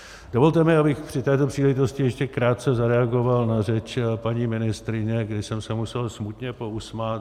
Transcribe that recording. Dovolte mi, abych při této příležitosti ještě krátce zareagoval na řeč paní ministryně, kdy jsem se musel smutně pousmát.